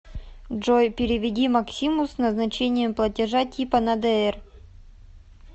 джой переведи максиму с назначением платежа типа на др